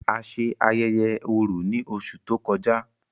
A ṣe ayẹyẹ Orò ni óṣù to kọja.